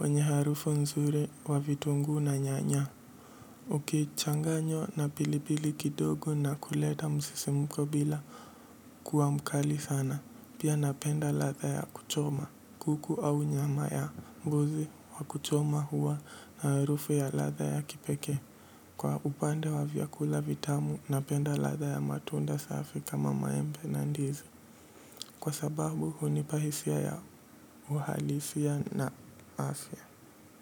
wenye harufu nzuri wa vitungu na nyanya. Ukichanganywa na pilipili kidogo na kuleta msisimko bila kuwa mkali sana. Pia napenda latha ya kuchoma. Kuku au nyama ya mbuzi wa kuchoma huwa na harufu ya ladha ya kipekee. Kwa upande wa vyakula vitamu na penda ladha ya matunda safi kama maembe na ndizi. Kwa sababu huunipa hisia ya uhalisia na afya.